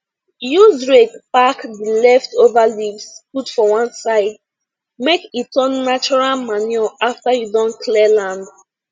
use rake pack the leftover leaves put for one side make e turn natural manure after you don clear land